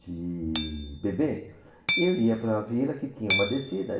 de bebê, e eu ia para a vila que tinha uma descida.